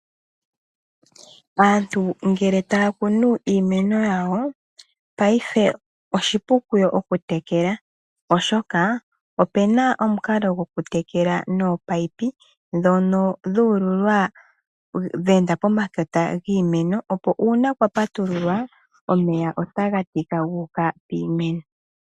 Aantu ngele taya kunu iimeno yawo payife oshili oshipu kuyo okutekela oshoka opena omukalo go ku tekela nominino ndhono dhu ululwa dhe enda pomakota giimeno opo uuna kwa patululwa omeya otaga tika gu uka piimeno.